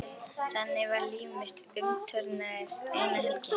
Þannig var að líf mitt umturnaðist eina helgi.